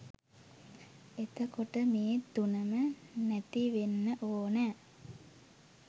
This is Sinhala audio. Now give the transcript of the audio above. එතකොට මේ තුනම නැතිවෙන්න ඕන